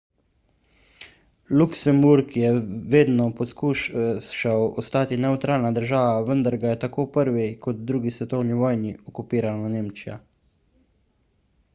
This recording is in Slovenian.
luksemburg je vedno poskušal ostati nevtralna država vendar ga je tako v prvi kot drugi svetovni vojni okupirala nemčija